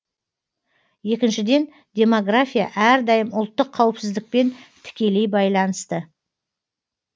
екіншіден демография әрдайым ұлттық қауіпсіздікпен тікелей байланысты